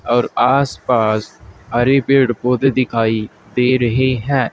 और आस पास हरे पेड़ पौधे दिखाई दे रहे हैं।